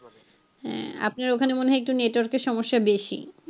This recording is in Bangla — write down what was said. হ্যাঁ আপনার ওখানে মনে হয় একটু network এর সমস্যা বেশি